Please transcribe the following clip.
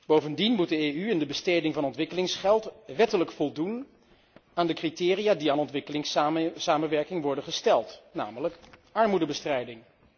Bovendien moet de EU in de besteding van ontwikkelingsgeld wettelijk voldoen aan de criteria die aan ontwikkelingssamenwerking worden gesteld, namelijk armoedebestrijding.